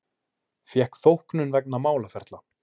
Fékk þóknun vegna málaferla